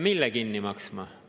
Mille kinni maksma?